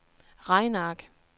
regneark